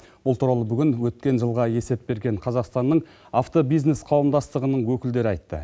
бұл туралы бүгін өткен жылға есеп берген қазақстанның автобизнес қауымдастығының өкілдері айтты